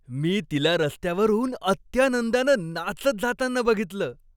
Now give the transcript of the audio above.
मी तिला रस्त्यावरून अत्यानंदानं नाचत जाताना बघितलं.